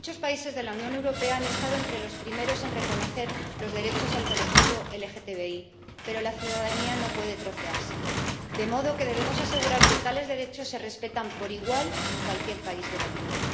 Muchos países de la Unión Europea han estado entre los primeros en reconocer los derechos del colectivo LGTBI, pero la ciudadanía no puede trocearse, de modo que debemos asegurar que tales derechos se respetan por igual en cualquier país de la Unión.